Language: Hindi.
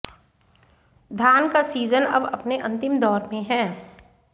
धान का सीजन अब अपने अंतिम दौर में है